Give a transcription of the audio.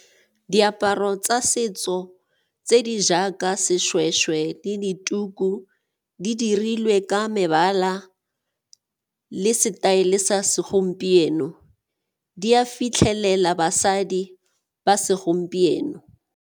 Diaparo tsa setso tse di jaaka seshweshwe le dituku di dirilwe ka mebala le setaele sa segompieno, di a fitlhelela basadi ba segompieno.